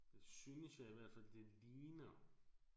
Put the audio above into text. Det synes jeg i hvert fald det ligner